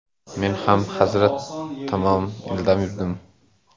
Men ham hazrat tomon ildam yurdim.